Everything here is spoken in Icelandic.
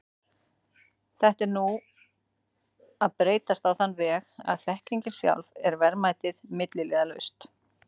Þetta er nú að breytast á þann veg að þekkingin sjálf er verðmætið, milliliðalaust.